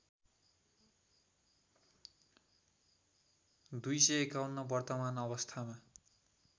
२५१ वर्तमान अवस्थामा